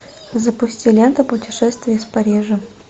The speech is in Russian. запусти ленту путешествие из парижа